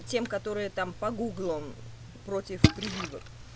тем которые там по гуглам против прививок